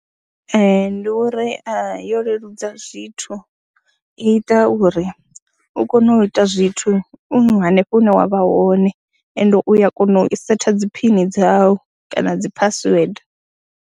Ee, ndi uri yo leludza zwithu, i ita uri u kone u ita zwithu u hanefho hune wa vha hone ende u ya kona u i setha dzi phini dzau kana dzi phasiwede.